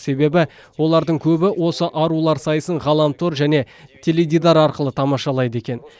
себебі олардың көбі осы арулар сайысын ғаламтор және теледидар арқылы тамашалайды екен